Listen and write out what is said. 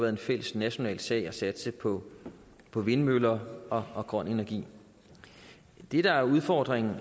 en fælles national sag at satse på på vindmøller og og grøn energi det der er udfordringen